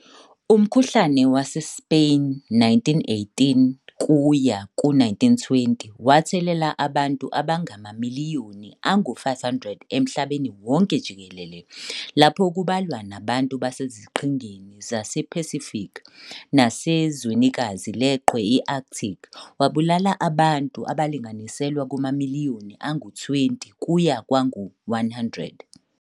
Umkhuhlane wase-Spain, 1918 kuya ku 1920, wathelela abantu abangama miliyoni angu-500 emhlabeni wonke jikelele, lapho kubalwa nabantu baseziqhingini zase-Pacific nasezwenikazi leqhwa i-Arctic, wabulala abantu abalinganiselwa kuma miliyoni angu-20 kuya kwangu-100.